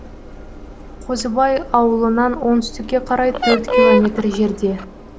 қозыбай ауылынан оңтүстікке қарай төрт километр жерде